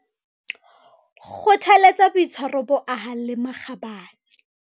Kgothaletsa boitshwaro bo ahang le makgabane.